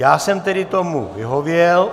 Já jsem tedy tomu vyhověl.